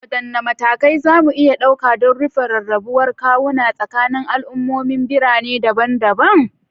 Wadanne matakai za mu iya dauka don rufe rarrabuwar kawuna tsakanin al'ummomin birane daban-daban?